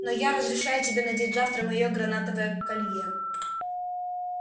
но я разрешаю тебе надеть завтра моё гранатовое колье